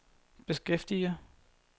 beskæftiger